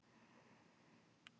Enn fleiri komu aðvífandi.